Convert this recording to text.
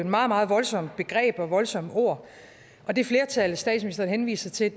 meget meget voldsomme voldsomme ord det flertal statsministeren henviser til